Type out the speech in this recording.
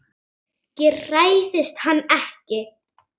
Ég hræðist hann ekki.